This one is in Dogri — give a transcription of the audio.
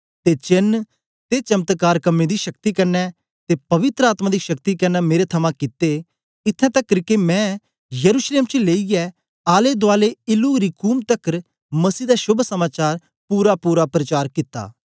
ते चेन्न ते चमत्कार कम्में दी शक्ति कन्ने ते पवित्र आत्मा दी शक्ति कन्ने मेरे थमां कित्ते इत्थैं तकर के मैं यरूशलेम चा लेईयै आले दूआले इल्लुरिकुम तकर मसीह दा शोभ समाचार पूरापूरा प्रचार कित्ता